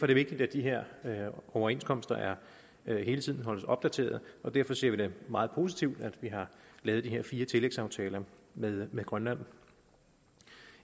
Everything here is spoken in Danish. det vigtigt at de her overenskomster hele tiden holdes opdateret og derfor ser vi meget positivt på at vi har lavet de her fire tillægsaftaler med med grønland